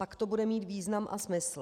Pak to bude mít význam má smysl.